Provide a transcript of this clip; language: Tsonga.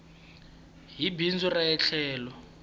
hi bindzu ra ie tlhelo